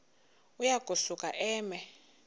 uya kusuka eme